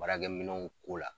Baarakɛminɛnw ko la